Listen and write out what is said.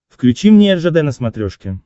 включи мне ржд на смотрешке